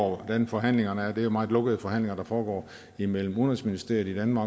hvordan forhandlingerne er det er jo meget lukkede forhandlinger der foregår imellem udenrigsministerierne